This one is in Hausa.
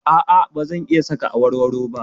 A'a, ba zan iya saka awarwaro ba.